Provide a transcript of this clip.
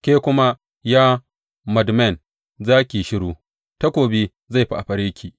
Ke kuma, ya Madmen za ki yi shiru; takobi zai fafare ki.